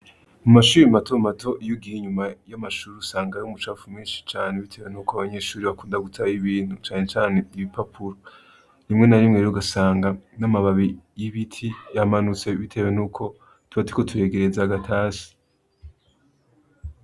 Mu mashuri mato mato iyo ugiye inyuma y'amashuri, usangayo umucapfu mwinshi cane. Bitewe n'uko abanyeshuri bakunda gutayo ibintu canecane ibipapuro. Rimwe na rimwero, ugasanga n'amababi y'ibiti yamanutse bitewe n'uko tuba turiko turegereza agatasi.